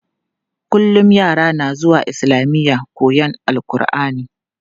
Kullum yara na zuwa islamiya koyon AlƘurʼani.